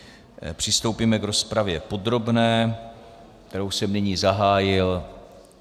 Přistoupíme k rozpravě podrobné, kterou jsem nyní zahájil.